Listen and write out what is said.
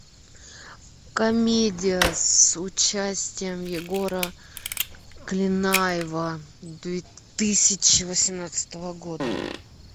комедия с участием егора клинаева две тысячи восемнадцатого года